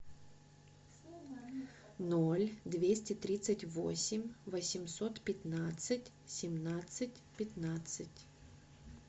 ноль двести тридцать восемь восемьсот пятнадцать семнадцать пятнадцать